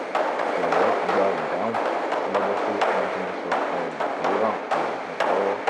jọ̀wọ́ gba ìdáhùn tó bá jẹ́ pé ohun tí mo sọ um yìí ràn um ẹ́ lọ́wọ́